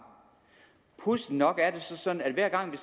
pudsigt nok er det sådan at hver gang vi